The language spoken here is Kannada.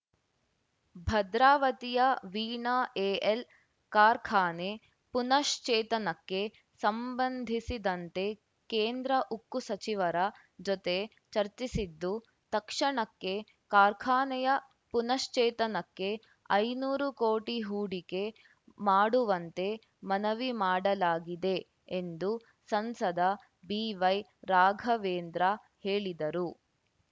ಭದ್ರಾವತಿಯ ವೀಣಾ ಎಎಲ್‌ ಕಾರ್ಖಾನೆ ಪುನಃಶ್ಚೇತನಕ್ಕೆ ಸಂಬಂಧಿಸಿದಂತೆ ಕೇಂದ್ರ ಉಕ್ಕು ಸಚಿವರ ಜೊತೆ ಚರ್ಚಿಸಿದ್ದು ತಕ್ಷಣಕ್ಕೆ ಕಾರ್ಖಾನೆಯ ಪುನಶ್ಚೇತನಕ್ಕೆ ಐನೂರು ಕೋಟಿ ಹೂಡಿಕೆ ಮಾಡುವಂತೆ ಮನವಿ ಮಾಡಲಾಗಿದೆ ಎಂದು ಸಂಸದ ಬಿವೈ ರಾಘವೇಂದ್ರ ಹೇಳಿದರು